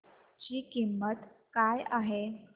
ची किंमत काय आहे